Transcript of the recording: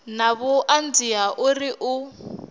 na vhuṱanzi ha uri u